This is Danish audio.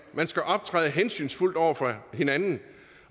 man skal optræde hensynsfuldt over for hinanden